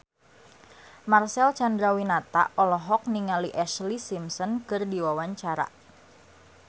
Marcel Chandrawinata olohok ningali Ashlee Simpson keur diwawancara